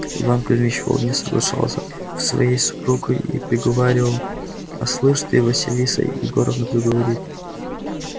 иван кузьмич вполне соглашался с своею супругою и приговаривал а слышь ты василиса егоровна правду говорит